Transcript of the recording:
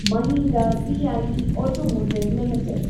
Mahindra CIE automotive limited